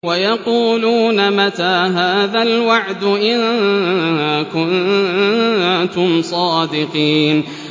وَيَقُولُونَ مَتَىٰ هَٰذَا الْوَعْدُ إِن كُنتُمْ صَادِقِينَ